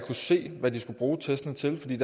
se hvad de skulle bruge testene til fordi